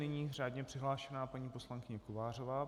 Nyní řádně přihlášená paní poslankyně Kovářová.